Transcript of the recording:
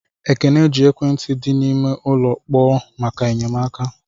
Ekene ji ekwentị di n'ime ụlọ kpọkuo maka enyemaka.